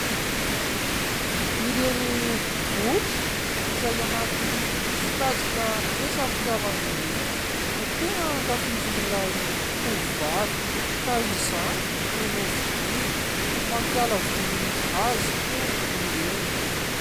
Ireny boky izay anaty sokajina resam-pitiavana ireny no tena ankafizin'ilay tovovavy ka izany no novidiany. Mampiala voly azy hono ireny.